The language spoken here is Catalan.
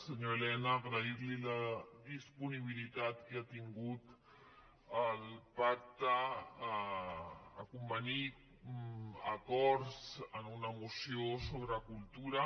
senyor elena agrair li la disponibilitat que ha tingut al pacte a convenir acords en una moció sobre cultura